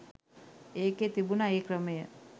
ඒකෙ තිබුණා ඒ ක්‍රමය